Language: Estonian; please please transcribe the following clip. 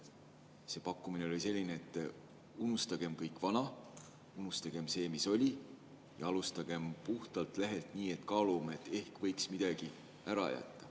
See pakkumine oli selline: unustagem kõik vana, unustagem see, mis oli, ja alustagem puhtalt lehelt, nii et kaalume, et ehk võiks midagi ära jätta.